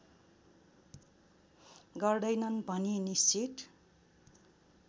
गर्दैनन् भनी निश्चित